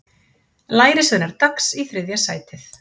Lærisveinar Dags í þriðja sætið